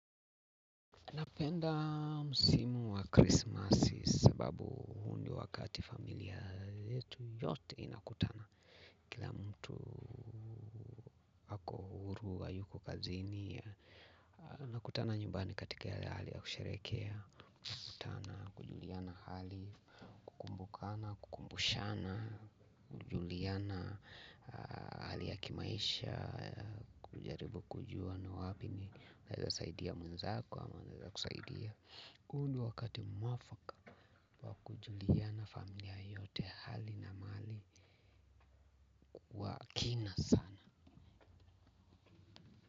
Napenda msimu wa krismasi sababu ni wakati familia yetu yote inakutana kila mtu ako huru hayuko kazini. Nakutana nyumbani katika hali ya kusherekea. Nakutana kujuliana hali, kukumbukana, kukumbushana, kujuliana hali ya kimaisha. Kujaribu kujua na wapi ninaweza saidia mwenzako ama anaweza kusaidia. Huu ni wakati mwafaka wa kujuliana familia yote hali na mali kwa kina sana.